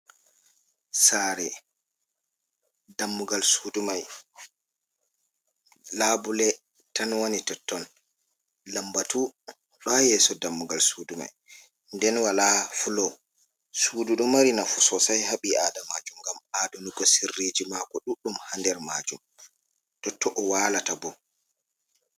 Saare, dammugal suudu mai laabule tan woni totton, lambatu ɗo ha yeso dammugal suudu mai, nden walaa fulo. Suudu ɗo mari nafu soosai ha ɓii Adamaajo ngam aadunugo sirriiji maako ɗuɗɗum ha nder maajum, totto o waalata bo.